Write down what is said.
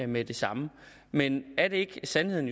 med det samme men er det ikke sandheden